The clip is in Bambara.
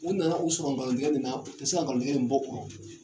U nana u sɔrɔ nkalon tigɛ min na, u tɛ se ka nkalontigɛ in bɔ u rɔ.